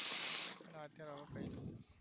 હાલ તો હવે કઈ નહિ